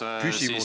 Küsimus!